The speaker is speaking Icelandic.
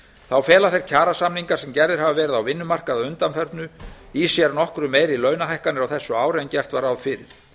þá fela þeir kjarasamningar sem gerðir hafa verið á vinnumarkaði að undanförnu í sér nokkru meiri launahækkanir á þessu ári en gert var ráð fyrir